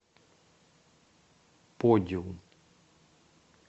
подиум